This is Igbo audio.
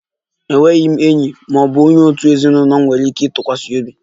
Enweghị m enyi ma ọ bụ onye òtù ezinụlọ m nwere ike ịtụkwasị obi